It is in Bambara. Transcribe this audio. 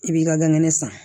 I b'i ka ganŋɛnɛ san